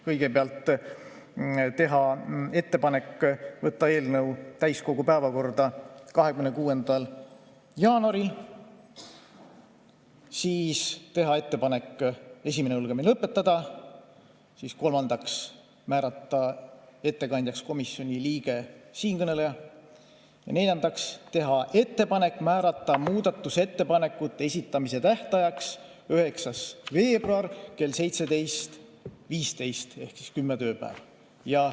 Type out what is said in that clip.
Kõigepealt otsustati teha ettepanek võtta eelnõu täiskogu päevakorda 26. jaanuaril, siis otsustati teha ettepanek esimene lugemine lõpetada, kolmandaks otsustati määrata ettekandjaks komisjoni liige ehk siinkõneleja ja neljandaks otsustati teha ettepanek määrata muudatusettepanekute esitamise tähtajaks 9. veebruar kell 17.15 ehk kümme tööpäeva.